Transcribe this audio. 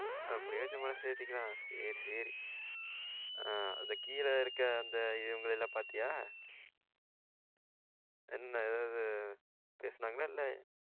அப்டியும் வச்சி மனச தேத்திகலாம் சேரி சேரி. ஆ அந்த கிழ இருக்குற இவங்களை எல்லாம் பாத்தியா? என்ன அதாவது பேசுனன்களா இல்லையா?